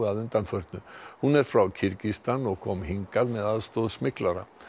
að undanförnu hún er frá Kirgistan og kom til hingað með aðstoð smyglara